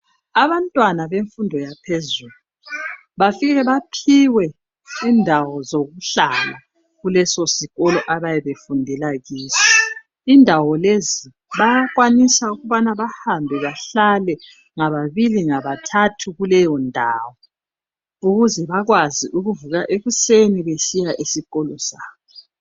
Abantwana bemfundo yaphezulu bafike baphiwe indawo zokuhlala kuleso sikolo ayabebefundela kiso. Indawo lezi bayakwanisa ukubana bahlale ngababili ngabathathu kuleyondawo ukuze babekwazi ukuvuka besiya esikolo sabo.